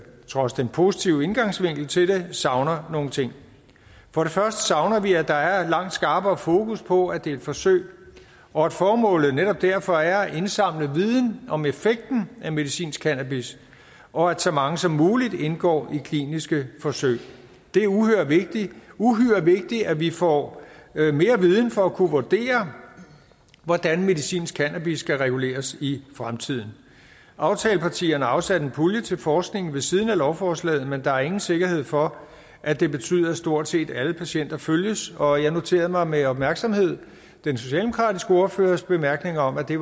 trods den positive indgangsvinkel til det savner nogle ting for det første savner vi at der er langt skarpere fokus på at det er et forsøg og at formålet netop derfor er at indsamle viden om effekten af medicinsk cannabis og at så mange som muligt indgår i kliniske forsøg det er uhyre vigtigt vigtigt at vi får mere viden for at kunne vurdere hvordan medicinsk cannabis skal reguleres i fremtiden aftalepartierne har afsat en pulje til forskning ved siden af lovforslaget men der er ingen sikkerhed for at det betyder at stort set alle patienter følges og jeg noterede mig med opmærksomhed den socialdemokratiske ordførers bemærkninger om at det